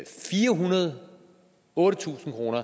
firehundrede og ottetusind kroner